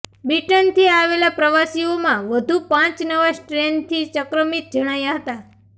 બ્રિટનથી આવેલા પ્રવાસીઓમાં વધુ પાંચ નવા સ્ટ્રેનથી સંક્રમિત જણાયા હતાં